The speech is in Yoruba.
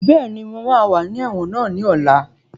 Bẹ́ẹ̀ni, mo máa wà ní ẹ̀wọ̀n náà ní ọ̀la